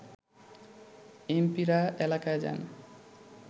এমপিরা এলাকায় যান